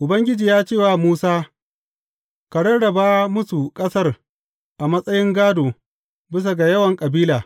Ubangiji ya ce wa Musa, Ka rarraba musu ƙasar a matsayin gādo, bisa ga yawan kabila.